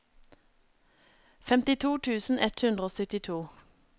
femtito tusen ett hundre og syttito